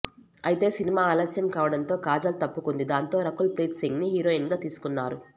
అయితే సినిమా ఆలస్యం కావడంతో కాజల్ తప్పుకుంది దాంతో రకుల్ ప్రీత్ సింగ్ ని హీరోయిన్ గా తీసుకున్నారు